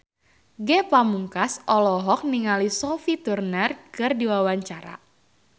Ge Pamungkas olohok ningali Sophie Turner keur diwawancara